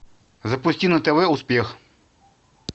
запусти на тв успех